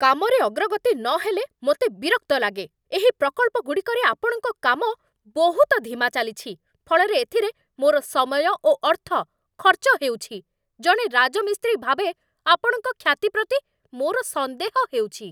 କାମରେ ଅଗ୍ରଗତି ନହେଲେ ମୋତେ ବିରକ୍ତ ଲାଗେ। ଏହି ପ୍ରକଳ୍ପଗୁଡ଼ିକରେ ଆପଣଙ୍କ କାମ ବହୁତ ଧିମା ଚାଲିଛି, ଫଳରେ ଏଥିରେ ମୋର ସମୟ ଓ ଅର୍ଥ ଖର୍ଚ୍ଚ ହେଉଛି, ଜଣେ ରାଜମିସ୍ତ୍ରୀ ଭାବେ ଆପଣଙ୍କ ଖ୍ୟାତି ପ୍ରତି ମୋର ସନ୍ଦେହ ହେଉଛି।